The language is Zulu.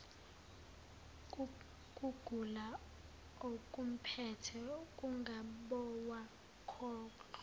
kugula okumphethe ungabowakhohlwa